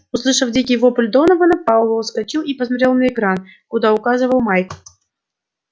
услышав дикий вопль донована пауэлл вскочил и посмотрел на экран куда указывал майк